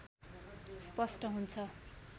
स्पष्ट हुन्छ